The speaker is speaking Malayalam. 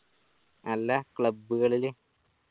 അല്ല club കളില്